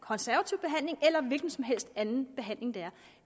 eller en hvilken som helst anden behandling der